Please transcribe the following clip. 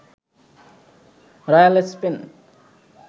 royal Spain